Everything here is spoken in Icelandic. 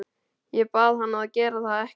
Ég bað hann að gera það ekki.